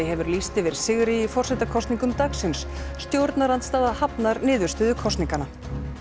hefur lýst yfir sigri í forsetakosningum dagsins stjórnarandstaða hafnar niðurstöðu kosninganna